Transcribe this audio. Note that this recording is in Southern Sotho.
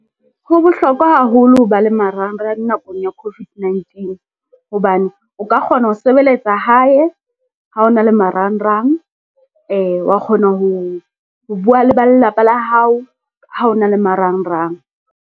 Ho bohlokwa haholo ho ba le marangrang nakong ya COVID-19 hobane, o ka kgona ho sebeletsa hae ha o na le marangrang, wa kgona ho bua le ba lelapa la hao ha o na le marangrang.